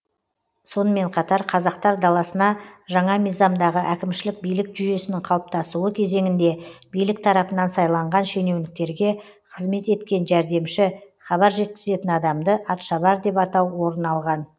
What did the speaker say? сонымен қатар қазақтар даласына жаңа мизамдағы әкімшілік билік жүйесінің қалыптасуы кезеңінде билік тарапынан сайланған шенеуніктерге қызмет еткен жәрдемші хабар жеткізетін адамды атшабар деп атау орын алған